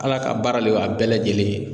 Ala ka baara le y'a bɛɛ lajɛlen ye.